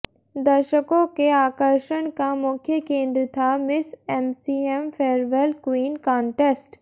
दर्शकों के आकर्षण का मुख्य केंद्र था miss MCM farewell queen contest